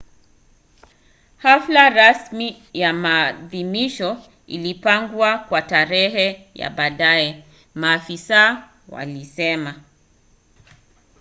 hafla rasmi ya maadhimisho ilipangwa kwa tarehe ya baadaye maafisa walisema